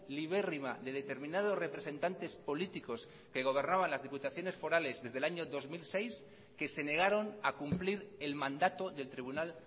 libérrima de determinados representantes políticos que gobernaban las diputaciones forales desde el año dos mil seis que se negaron a cumplir el mandato del tribunal